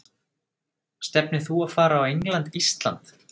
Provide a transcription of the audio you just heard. Stefnir þú á að fara á England- Ísland?